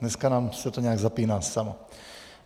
Dneska se nám to nějak zapíná samo.